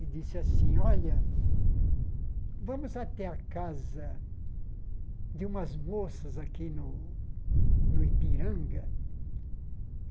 E disse assim, olha, vamos até a casa de umas moças aqui no no Ipiranga.